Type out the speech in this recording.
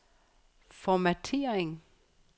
formattering